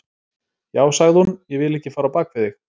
Já, sagði hún, ég vil ekki fara á bak við þig.